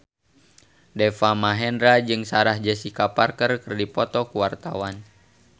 Deva Mahendra jeung Sarah Jessica Parker keur dipoto ku wartawan